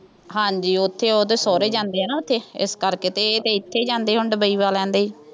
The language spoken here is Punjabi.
ਹਾਂਜੀ ਉੱਥੇ ਉਹਦੇ ਸਹੁਰੇ ਜਾਂਦੇ ਆ ਨਾ ਉੱਥੇ ਇਸ ਕਰਕੇ ਅਤੇ ਇਹ ਤਾਂ ਇੱਥੇ ਹੀ ਜਾਂਦੇ, ਹੁਣ ਡੁਬਈ ਵਾਲਿਆਂ ਦੇ ਹੀ